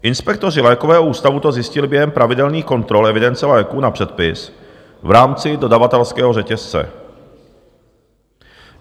Inspektoři lékového ústavu to zjistili během pravidelných kontrol evidence léků na předpis v rámci dodavatelského řetězce.